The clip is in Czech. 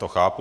To chápu.